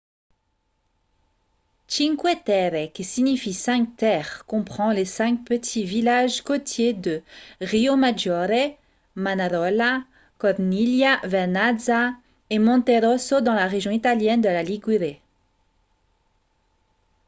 cinque terre qui signifie cinq terres comprend les cinq petits villages côtiers de riomaggiore manarola corniglia vernazza et monterosso dans la région italienne de la ligurie